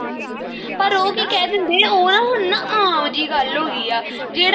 ਪਰ ਉਹ ਕੀ ਕਹਿ ਦਿੰਦੇ ਆ ਉਹ ਨਾ ਹੁਣ ਨਾ ਆਮ ਜੀ ਗੱਲ ਹੋ ਗਈ ਆ ਜਿਹੜਾ